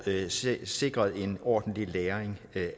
sikret en ordentlig læring af